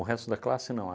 O resto da classe não.